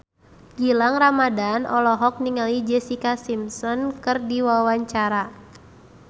Gilang Ramadan olohok ningali Jessica Simpson keur diwawancara